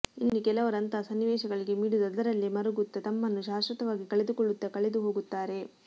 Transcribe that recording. ಇನ್ನು ಕೆಲವರು ಅಂತಹ ಸನ್ನಿವೇಶಗಳಿಗೆ ಮಿಡಿದು ಅದರಲ್ಲೆ ಮರುಗುತ್ತಾ ತಮ್ಮನ್ನು ಶಾಶ್ವತವಾಗಿ ಕಳೆದುಕೊಳ್ಳುತ್ತಾ ಕಳೆದು ಹೋಗುತ್ತಾರೆ